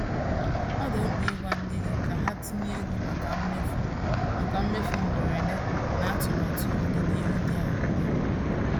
Ọ dị mkpa ịgwa ndị gị ka ha tinye ego maka mmefu maka mmefu mgberede na atụmatụ ọdịnihu dị anya.